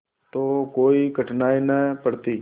तो कोई कठिनाई न पड़ती